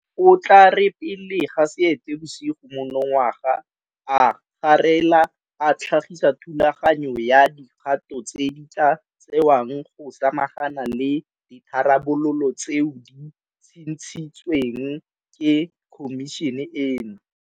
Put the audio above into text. O tla re pele ga Seetebosigo monongwaga a garela a tlhagisa thulaganyo ya dikgato tse di tla tsewang go samagana le ditharabololo tseo di tshitshintsweng ke Khomišene eno.